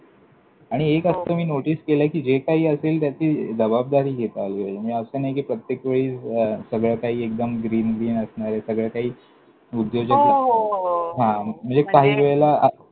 आणि हो एक असतं, मी notice केलंय, कि जे काही असेल त्याची जबाबदारी घेता आली पाहिजे. म्हणजे असं नाही प्रत्येक वेळी अं सगळं काही एकदम green green असणारे. सगळं काही उद्योजक हो, हो, हो! हां! म्हणजे काही वेळेला.